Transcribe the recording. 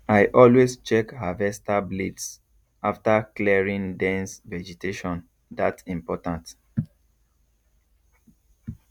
i always check harvester blades after clearing dense vegetation that important